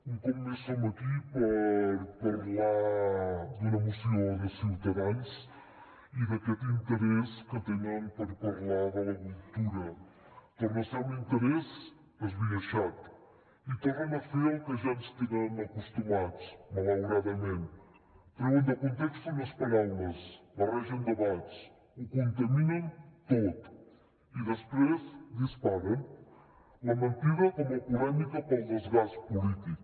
un cop més som aquí per parlar d’una moció de ciutadans i d’aquest interès que tenen per parlar de la cultura torna a ser un interès esbiaixat i tornen a fer al que ja ens tenen acostumats malauradament treuen de context unes paraules barregen debats ho contaminen tot i després disparen la mentida com a polèmica per al desgast polític